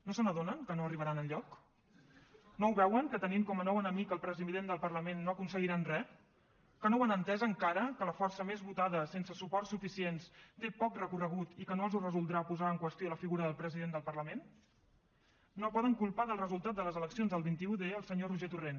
no se n’adonen que no arribaran enlloc no ho veuen que tenint com a nou enemic el president del parlament no aconseguiran re que no ho han entès encara que la força més votada sense suports suficients té poc recorregut i que no els ho resoldrà posar en qüestió la figura del president del parlament no poden culpar del resultat de les eleccions del vint un d el senyor roger torrent